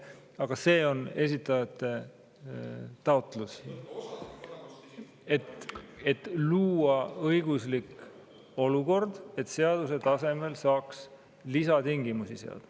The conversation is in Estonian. Aga see on esitajate taotlus, et luua õiguslik olukord, et seaduse tasemel saaks lisatingimusi seada.